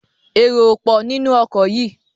èrò o pọ ninu oko yí!